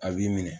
A b'i minɛ